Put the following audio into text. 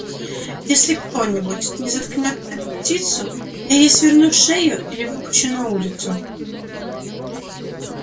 если кто-нибудь не заткнёт эту птицу я ей сверну шею или выпущу на улицу